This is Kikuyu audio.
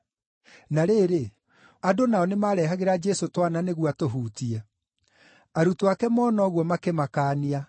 Na rĩrĩ, andũ nao nĩmarehagĩra Jesũ twana nĩguo atũhutie. Arutwo ake mona ũguo, makĩmakaania.